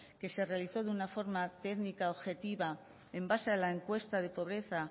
que se realizó de una forma técnica objetiva en base a la encuesta de pobreza